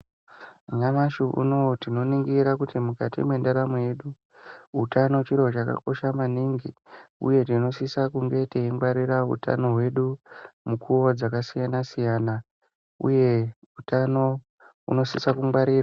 Nyamashi unowu tinoringira kuti mukati mendaramo yedu utano chiro chakakosha maningi uye tinosisa kunge taingwarira utano hwedu mukuwo dzakasiyana siyana uye utano unosisa kungwarirwa.